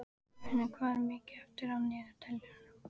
Bergfinnur, hvað er mikið eftir af niðurteljaranum?